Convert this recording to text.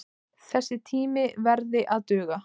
Þessi tími verði að duga.